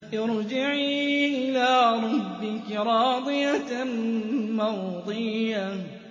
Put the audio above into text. ارْجِعِي إِلَىٰ رَبِّكِ رَاضِيَةً مَّرْضِيَّةً